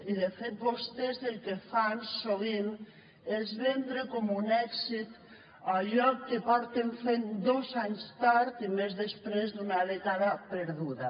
i de fet vostès el que fan sovint és vendre com un èxit allò que porten fent dos anys tard i després d’una dècada perduda